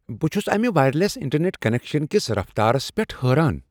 بہٕ چھس امہ وائرلیس انٹرنیٹ کنیکشس کس رفتارس پیٹھ حیران ۔